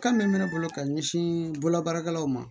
Kan min bɛ ne bolo ka ɲɛsin bolo baarakɛlaw ma